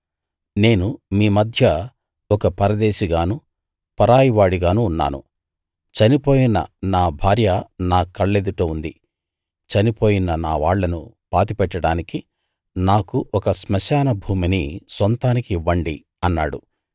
నేను మీ మధ్య ఒక పరదేశిగానూ పరాయి వాడిగానూ ఉన్నాను చనిపోయిన నా భార్య నా కళ్ళెదుట ఉంది చనిపోయిన నా వాళ్ళను పాతిపెట్టడానికి నాకు ఒక స్మశాన భూమిని సొంతానికి ఇవ్వండి అన్నాడు